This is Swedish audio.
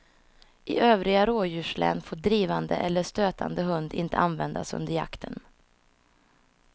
I övriga rådjurslän får drivande eller stötande hund inte användas under jakten.